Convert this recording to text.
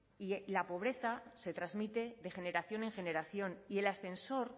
y la pobreza se transmite de generación en generación y el ascensor